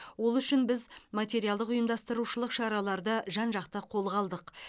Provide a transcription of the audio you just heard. ол үшін біз материалдық ұйымдастырушылық шараларды жан жақты қолға алдық